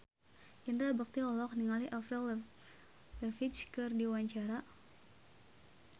Indra Bekti olohok ningali Avril Lavigne keur diwawancara